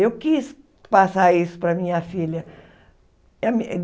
Eu quis passar isso para a minha filha.